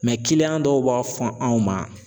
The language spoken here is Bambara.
Mɛ kiliyan dɔw b'a fɔ anw ma